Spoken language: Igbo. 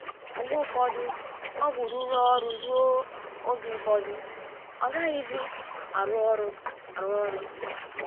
Mgbe ụfọdụ ọgwụ rụrụ ọrụ ruo oge ụfọdụ agaghịzi arụ ọrụ arụ ọrụ.